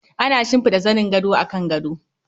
Ana shimfida zanin gado akan gado.